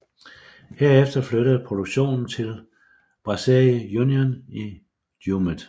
Herefter flyttede produktionen til Brasserie Union i Jumet